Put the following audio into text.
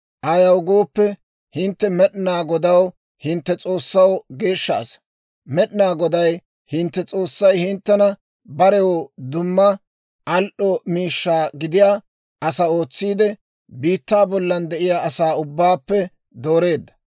Ayaw gooppe, hintte Med'inaa Godaw, hintte S'oossaw, geeshsha asaa. Med'inaa Goday hintte S'oossay hinttena barew dumma al"o miishshaa gidiyaa asaa ootsiide, biittaa bollan de'iyaa asaa ubbaappe dooreedda.